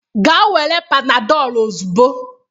Gaa were Panadolu ozugbo!